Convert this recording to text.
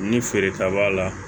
Ni feereta b'a la